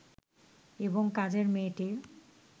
এবং কাজের মেয়েটির